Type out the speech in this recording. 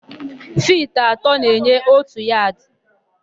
Fiti atọ na-enye òtù yadị.